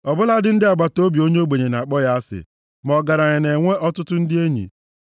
Ọ bụladị ndị agbataobi onye ogbenye na-akpọ ya asị, ma ọgaranya na-enwe ọtụtụ ndị enyi.